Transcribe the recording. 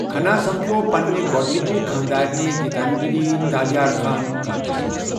کھنا سَمکھیوو پننہِ گۅڈنِچہِ خاندارنہِ گتانجلی تالیارخانہ کالجس منٛز۔